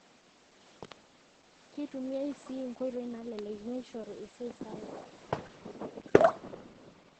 Keitumiya sii nkoitoi naalelek meishoru esiaai sapuk.